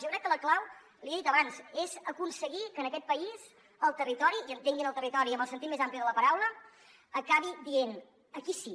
jo crec que la clau l’hi he dit abans és aconseguir que en aquest país el territori i entenguin el territori en el sentit més ampli de la paraula acabi dient aquí sí